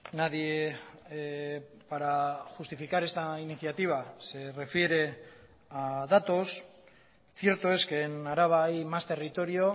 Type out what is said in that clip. nadie para justificar esta iniciativa se refiere a datos cierto es que en araba hay más territorio